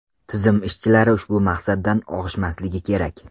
Tizim ishchilari ushbu maqsaddan og‘ishmasligi kerak.